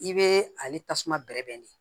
I bɛ ale tasuma bɛrɛ bɛn de